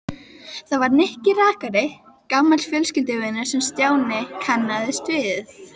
Það var Nikki rakari, gamall fjölskylduvinur, sem Stjáni kannaðist við.